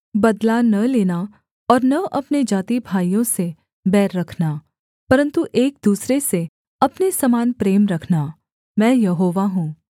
बदला न लेना और न अपने जातिभाइयों से बैर रखना परन्तु एक दूसरे से अपने समान प्रेम रखना मैं यहोवा हूँ